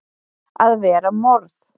AÐ VERA MORÐ!